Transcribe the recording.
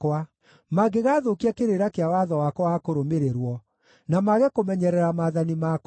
mangĩgathũkia kĩrĩra kĩa watho wakwa wa kũrũmĩrĩrwo na mage kũmenyerera maathani makwa,